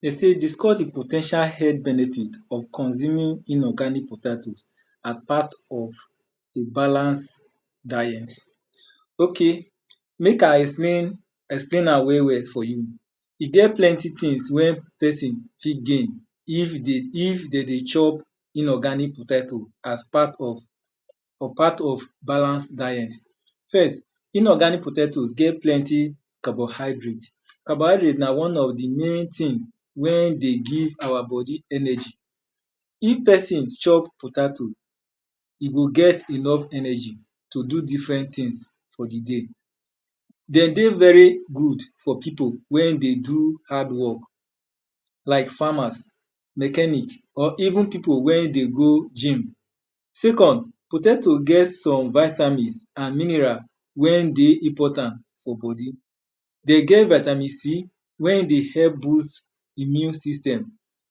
We say discuss di po ten tial health benefit of consuming inorganic potato as p art of to balance diet. Ojk mek I explan am well well for you, e get plenty things wey pesin fit gain if de dey chop inorganic potato as part of or part of balance diet. First inorganic potatoes get plenty carbon hydrate. Carbon hydrate na na one of di main thing wey dey give our bodi energy. If pesin chop potato, e go get enough energy to do different things for di day. De dey very good for pipu wey dey do hard work like farmers, mechanic or even pipu wey dey go gymn. second, potato get some vitamins and minerals wen dey important for bodi, de get vitamin C wen dey help boost immune system.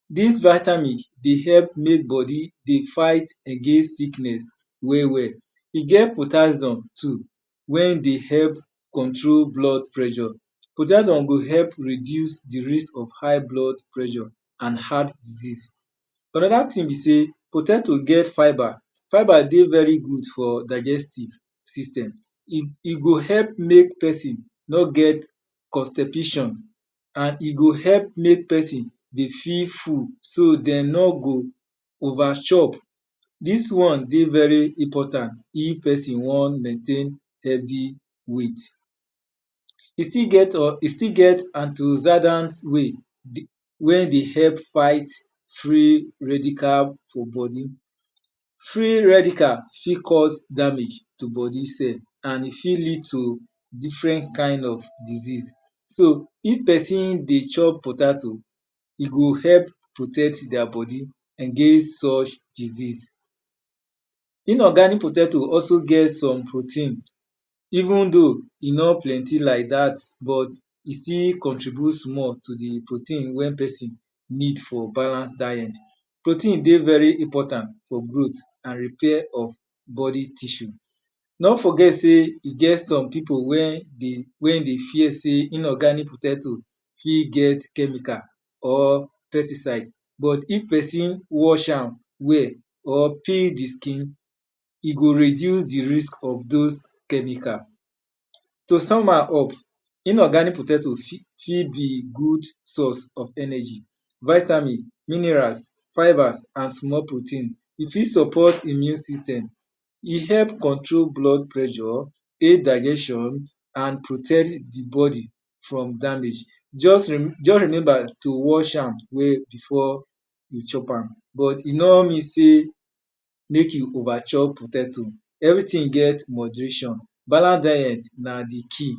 Dis vitamins dey help dey fight against sickness well well. E get potassioum too wen dey help control blood pressure, potassium dey help reduce di rate of high blood pressure and heart disease. Anoda thing be sey de ten d to get fibre. Fibre dey very good for digestive syatem, e go help mek pesin n get constipation and e go help mek pesin dey feel full so den no go overchop. Dis one dey very important wen pesin won maintain steady weight. E still get antozedant way wey dey help fight free redical weight for bodi. Free redical fit cause damage for bodi and e fit lead to different kind of diseases so if pesin dey chop potato, e go help protect their bodi against such diseases. Inorganic potato also get some protein een though e nor plenty like dat but e still contribute small to di protein wen pesin need for balance diet. Protein dey very important for growth and repair of bodi tissue. Nor forget sey e get some pipu wen dey fear sey inorganic potato fi getchemical or pesticide but if pesin wash am well or peel di skin, e go reduce di risk of those chemical. To sum am up, inorganic potato fit b god source of energy, vitamins, minerals, fibres and small protein. E fit support immune system, e help control blood pressure, indilution and rotect di whole bodi from damage. Just remember to wash am before you hop am, but e nor means sey mek you over chop potato because everything get moderation. Balance diet na di key.